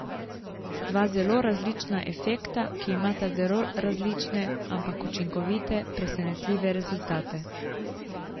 Dva zelo različna efekta, ki imata zelo različne, ampak čudovite, presenetljive rezultate.